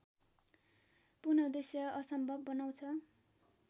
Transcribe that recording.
पुनःउद्देश्य असम्भव बनाउँछ